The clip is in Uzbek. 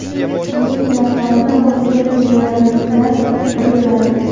Uning yordamida o‘zga sayyoraliklar qidiriladi.